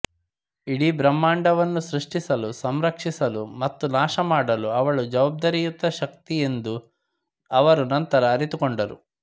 ಇಡೀ ಬ್ರಹ್ಮಾಂಡವನ್ನು ಸೃಷ್ಟಿಸಲು ಸಂರಕ್ಷಿಸಲು ಮತ್ತು ನಾಶಮಾಡಲು ಅವಳು ಜವಾಬ್ದಾರಿಯುತ ಶಕ್ತಿ ಎಂದು ಅವರು ನಂತರ ಅರಿತುಕೊಂಡರು